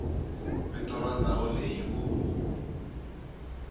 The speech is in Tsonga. vito ra ndhawu leyi u